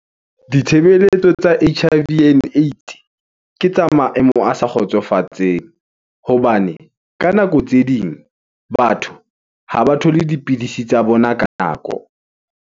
Ditshebeletso tsa H_I_V and Aids, ke tsa maemo a sa kgotsofatseng, hobane ka nako tse ding batho ha ba thole dipidisi tsa bona ka nako.